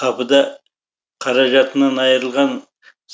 қапыда қаражатынан айырылған